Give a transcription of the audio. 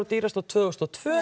dýrust á tvö þúsund og tvö